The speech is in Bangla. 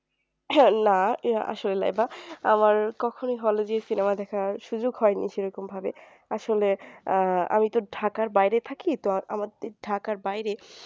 না আসলে লাইবা আমার কখনোই hall এ যেয়ে cinema দেখার সুযোগ হয়নি সেরকম ভাবে আসলে আহ আমি তো ঢাকার বাহিয়ে থাকি তো আমাদের ঢাকার বাহিরে